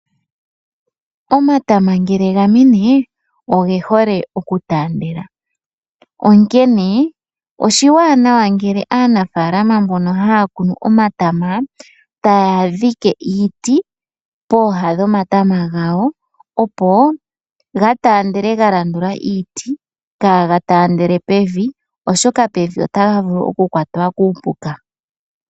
Omatama ngele ga mene oge hole oku taandela, onkene oshiwanawa ngele aanafalama mbono haya kunu omatama taya dhike iiti pooha dhomatama gawo, opo ga taandele ga landula iiti kaaga taandele pevi. Oshoka pevi otaga vulu okukwatwa kuupuka.